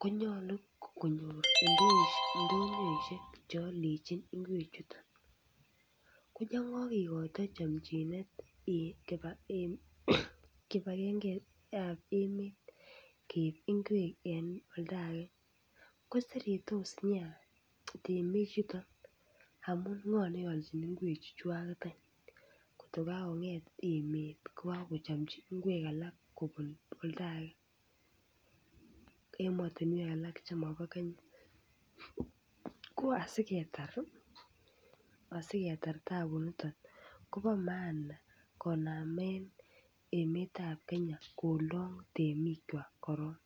konyolu konyoor ichek ndonyoishek cheoldojin ngwechuto. Koyongokekoito kipagenge kipagengetab emet keib ngwek eng koretage koseretos nea temichuton amu ng'o neoljin ngwechuto ayn ngot kokakong'et emet kochomchin ngwek kobun oldaage emetinwek alake chemobo Kenya. Asikeetar taabuniton kobo maana konamen emetab Kenya kolong temikwa korok.